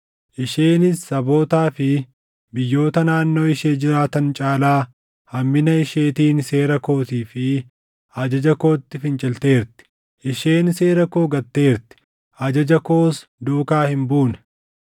Isheenis sabootaa fi biyyoota naannoo ishee jiraatan caalaa hammina isheetiin seera kootii fi ajaja kootti fincilteerti; isheen seera koo gatteerti; ajaja koos duukaa hin buune.